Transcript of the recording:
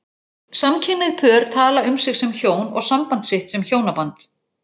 Samkynhneigð pör tala um sig sem hjón og samband sitt sem hjónaband.